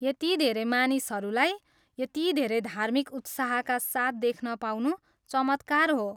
यति धेरै मानिसहरूलाई यति धेरै धार्मिक उत्साहका साथ देख्न पाउनु चमत्कार हो।